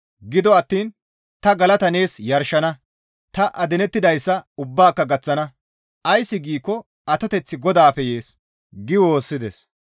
Gido attiin ta galata nees yarshana; ta adinettidayssa ubbaaka gaththana; ays giikko atoteththi GODAAPPE yees» gi woossides.